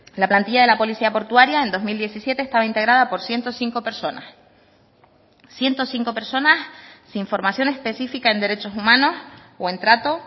la plantilla de la policía portuaria en dos mil diecisiete estaba integrada por ciento cinco personas ciento cinco personas sin formación específica en derechos humanos o en trato